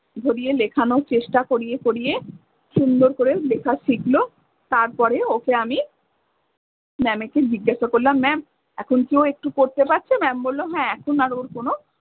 ধরিয়ে লেখানো চেষ্টা করিয়ে করিয়ে সুন্দর করে লেখা শিখলো। তারপরে ওকে আমি ma'am এ কে জিজ্ঞাসা করলাম ma'am এখন কি ও একটু করতে পারছে? Ma'am বললো হ্যাঁ এখন আর ওর কোনো